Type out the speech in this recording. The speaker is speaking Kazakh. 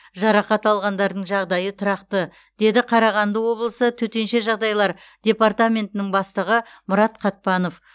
жарақат алғандардың жағдайы тұрақты деді қарағанды облысы төтенше жағдайлар департаментінің бастығы мұрат қатпанов